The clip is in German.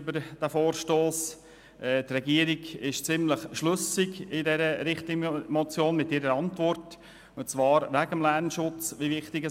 Die Antwort der Regierung auf die Richtlinienmotion erscheint uns schlüssig.